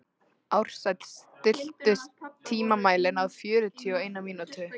Ársæll, stilltu tímamælinn á fjörutíu og eina mínútur.